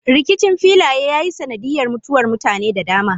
Rikicin filaye ya yi sanadiyar mutuwar mutane da dama.